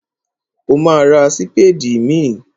Ó ma ra sípédì míì.